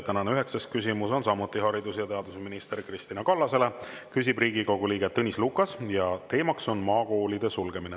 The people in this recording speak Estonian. Tänane üheksas küsimus on samuti haridus‑ ja teadusminister Kristina Kallasele, küsib Riigikogu liige Tõnis Lukas ja teema on maakoolide sulgemine.